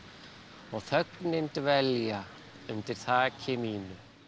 og þögnin dvelja undir þaki mínu